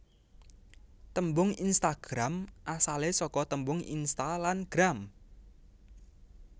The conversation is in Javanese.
Tembung Instagram asale saka tembung Insta lan Gram